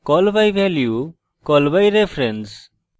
call by value call by reference